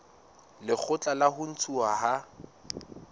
lekgotla la ho ntshuwa ha